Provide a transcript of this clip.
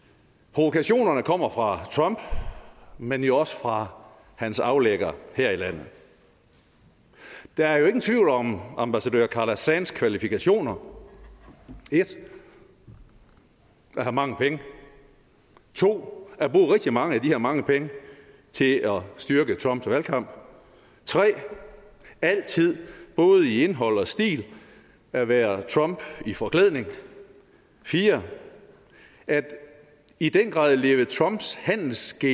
provokationerne kommer fra trump men jo også fra hans aflægger her i landet der er jo ingen tvivl om ambassadør carla sands kvalifikationer 1 at have mange penge 2 at bruge rigtig mange af de her mange penge til at styrke trumps valgkamp 3 altid i både indhold og stil at være trump i forklædning 4 i den grad at leve trumps handelsgen